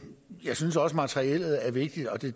jeg synes også materiellet er vigtigt og det